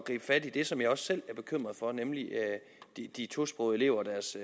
fat i det som jeg også selv er bekymret for nemlig de tosprogede elever og deres